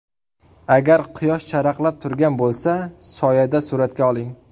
Agar quyosh charaqlab turgan bo‘lsa, soyada suratga oling.